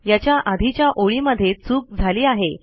याच्या आधीच्या ओळी मध्ये चूक झाली आहे